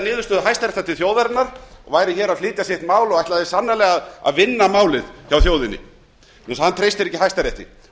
niðurstöðu hæstaréttar til þjóðarinnar væri hér að flytja mál sitt og ætlaði sannarlega að vinna það vegna þess að hann treystir ekki hæstarétti